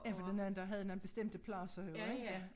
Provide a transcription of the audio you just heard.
Ja for dengang der havde man bestemte pladser jo ik ja